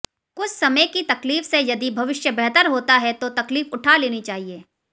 कुछ समय की तकलीफ से यदि भविष्य बेहतर होता है तो तकलीफ उठा लेनी चाहिए